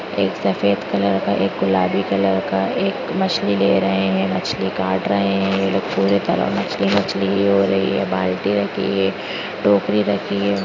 एक सफेद कलर का एक गुलाबी कलर का एक मछली ले रहे है मछली काट रहे हैं ये पूरी तरह मछली मछली हो रही है बाल्टी रखी है टोकरी रखी है।